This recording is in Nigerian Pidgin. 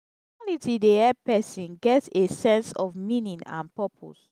spirituality dey help person get a sense of meaning and purpose